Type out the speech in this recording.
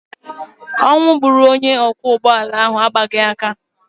Ọnwụ gburu onye ọkwọ ụgbọala ahụ agbaghị aka.